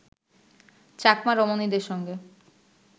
চাকমা রমণীদের সঙ্গে